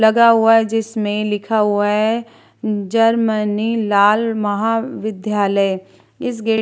लगा हुआ है जिसमें लिखा हुआ है जर्मनी लाल महाविद्यालय इस गेट ।